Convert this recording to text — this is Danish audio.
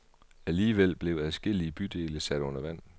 Alligevel blev adskillige bydele sat under vand.